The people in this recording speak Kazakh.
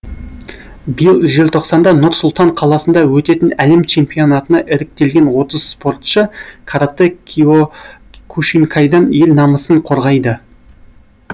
биыл желтоқсанда нұр сұлтан қаласында өтетін әлем чемпионатына іріктелген отыз спортшы каратэ киокушинкайдан ел намысын қорғайды